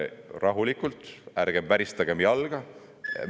Rahulikult, ärgem väristagem jalga!